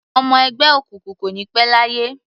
Ọmọ ẹgbẹ́ òkùnkùn kò ní pẹ́ láyé.